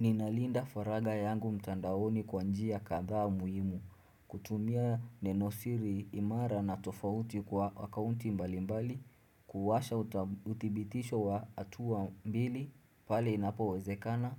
Ninalinda faragha yangu mtandaoni kwa njia kadhaa muhimu, kutumia neno siri imara na tofauti kwa akaunti mbalimbali, kuwasha utibitisho wa atua mbili, pale inapo wezekana,